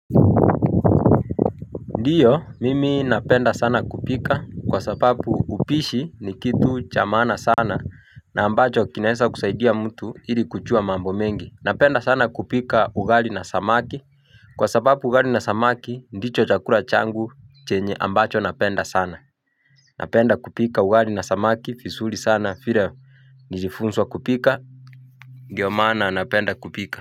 Ndiyo mimi napenda sana kupika kwa sapapu upishi ni kitu cha maana sana na ambacho kinahesa kusaidia mtu ili kuchua mambo mengi napenda sana kupika ugali na samaki kwa sapapu ugali na samaki ndicho chakura changu chenye ambacho napenda sana napenda kupika ugali na samaki fisuri sana fire nijifunswa kupika ndio maana napenda kupika.